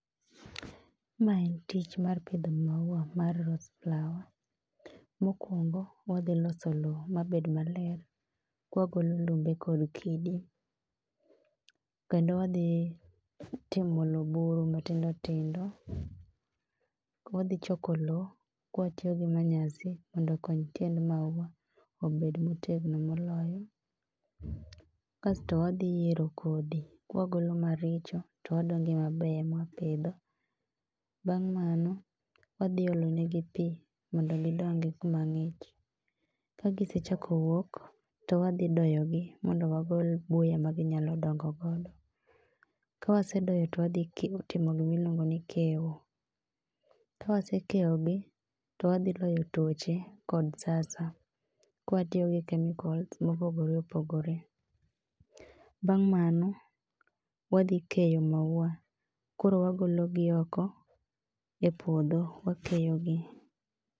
Ma en tich mar pidho maua mar rose flower. Mokwongo wadhi loso lowo mabed maler kwagolo lumbe kod kidi, kendo wadhi timo lo buru matindo tindo, wadhi choko lo kwatiyo gi manyasi mondo okony tiend maua obed motegno moloyo. Kasto wadhi yiero kodhi kwagolo maricho to wadong' gi mabeyo emwapidho. Bang' mano wadhi olonegi pi mondo gidong kumang'ich. Kagisechako wuok to wadhi doyogi mondo wagol buya ma ginyalo dongo godo. Ka wasedoyogi twadhitimo gimiluongo ni kewo, ka wasekewogi to wadhi loyo tuoche kod ka watiyo kod kemikols mopogore opogore. Bang' mano wadhi keyo maua koro wagologi oko e puodho wakeyogi.